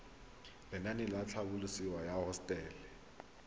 lenaane la tlhabololosewa ya hosetele